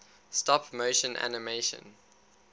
stop motion animation